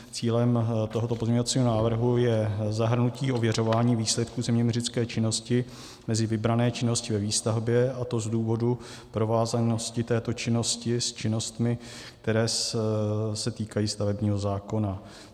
Cílem tohoto pozměňovacího návrhu je zahrnutí ověřování výsledků zeměměřické činnosti mezi vybrané činnosti ve výstavbě, a to z důvodu provázanosti této činnosti s činnostmi, které se týkají stavebního zákona.